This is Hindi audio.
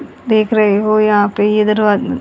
देख रहे हो यहां पे ये दरवा--